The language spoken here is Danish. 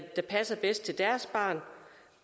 der passer bedst til deres barn